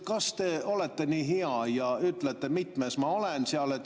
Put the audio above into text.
Kas te olete nii hea ja ütlete, mitmes ma seal järjekorras olen?